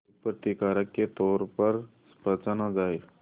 एक प्रतिकारक के तौर पर पहचाना जाए